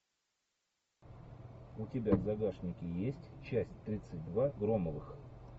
у тебя в загашнике есть часть тридцать два громовых